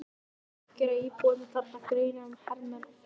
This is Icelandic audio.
Róbert: Gera íbúarnir þarna greinarmun á hermönnum og friðargæsluliðum?